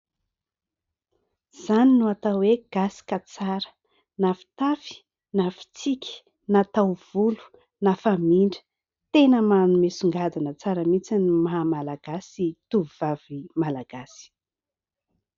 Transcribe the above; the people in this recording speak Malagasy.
Izany no atao hoe gasy ka tsara ! Na fitafy na fitsiky na taovolo na famindra, tena manome songadina tsara mihitsy ny maha malagasy tovovavy Malagasy.